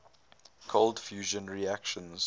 cold fusion reactions